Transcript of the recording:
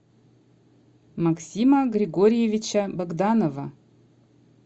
максима григорьевича богданова